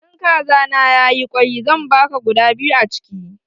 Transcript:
In kaza na ya yi kwai, zan baka guda biyu a chiki.